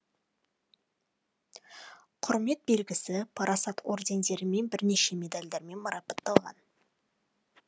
құрмет белгісі парасат ордендерімен бірнеше медальдармен марапатталған